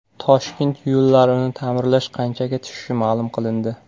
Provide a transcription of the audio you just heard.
Toshkent yo‘llarini ta’mirlash qanchaga tushishi ma’lum qilindi.